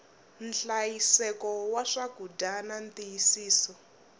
nhlayiseko wa swakudya na ntiyisiso